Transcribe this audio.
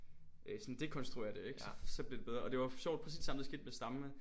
Sådan dekonstruerer det ikke så så bliver det bedre og det var sjovt præcis det samme der skete med stammen ikke?